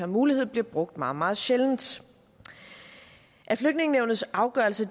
mulighed bliver brugt meget meget sjældent at flygtningenævnets afgørelser